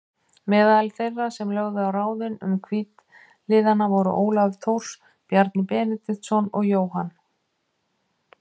Meðal þeirra sem lögðu á ráðin um hvítliðana voru Ólafur Thors, Bjarni Benediktsson og Jóhann